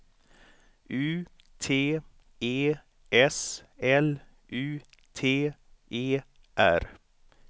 U T E S L U T E R